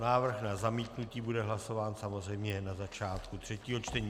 Návrh na zamítnutí bude hlasován samozřejmě na začátku třetího čtení.